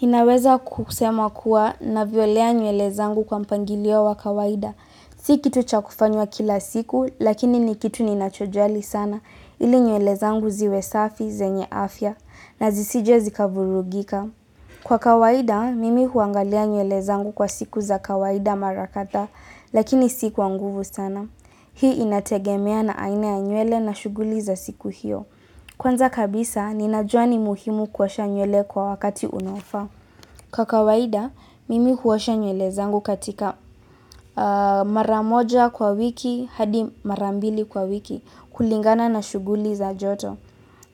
Ninaweza kusema kuwa navyolea nywele zangu kwa mpangilio wa kawaida. Si kitu cha kufanywa kila siku, lakini ni kitu ninachojali sana, ili nywele zangu ziwe safi, zenye afya, na zisije zikavurugika. Kwa kawaida, mimi huangalia nywele zangu kwa siku za kawaida mara kadha, lakini siku kwa nguvu sana. Hii inategemea na aina ya nywele na shughuli za siku hiyo. Kwanza kabisa, ninajua ni muhimu kuosha nywele kwa wakati unaofaa. Kwa kawaida, mimi huosha nywele zangu katika mara moja kwa wiki hadi mara mbili kwa wiki kulingana na shughuli za joto.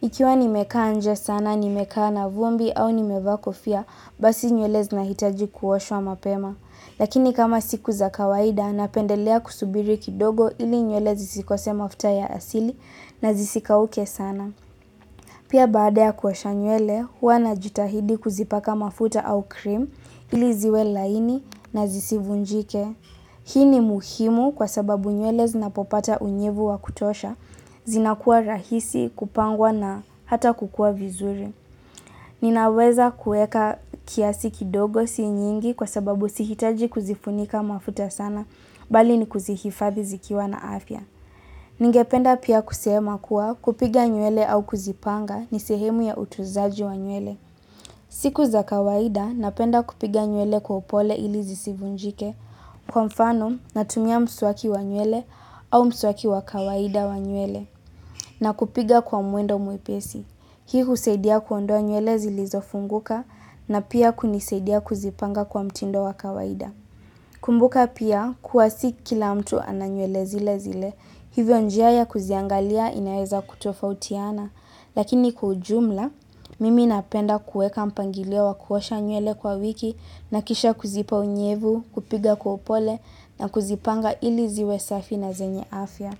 Ikiwa nimekaa nje sana, nimekaa na vumbi au nimevaa kofia, basi nywele zinahitaji kuoshwa mapema. Lakini kama siku za kawaida, napendelea kusubiri kidogo ili nywele zisikose mafuta ya asili na zisikauke sana. Pia baada ya kuosha nywele, hua najitahidi kuzipaka mafuta au cream ili ziwe laini na zisivunjike. Hii ni muhimu kwa sababu nywele zinapopata unyevu wa kutosha, zinakua rahisi, kupangwa na hata kukua vizuri. Ninaweza kueka kiasi kidogo si nyingi kwa sababu sihitaji kuzifunika mafuta sana, bali ni kuzihifadhi zikiwa na afya. Ningependa pia kusema kuwa kupiga nywele au kuzipanga ni sehemu ya utuzaji wa nywele. Siku za kawaida napenda kupiga nywele kwa upole ili zisivunjike kwa mfano na tumia mswaki wa nywele au mswaki wa kawaida wa nywele na kupiga kwa muendo mwepesi. Hii husaidia kuondoa nywele zilizo funguka na pia kunisaidia kuzipanga kwa mtindo wa kawaida. Kumbuka pia kuwa si kila mtu ana nywele zile zile, hivyo njia ya kuziangalia inaeza kutofautiana, lakini kwa ujumla, mimi napenda kueka mpangilio wa kuosha nywele kwa wiki na kisha kuzipa unyevu, kupiga kwa upole na kuzipanga ili ziwe safi na zenye afya.